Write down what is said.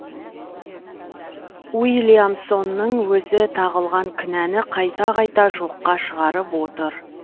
уильямсонның өзі тағылған кінәні қайта қайта жоққа шығарып отыр